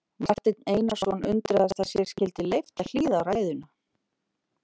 Marteinn Einarsson undraðist að sér skyldi leyft að hlýða á ræðuna.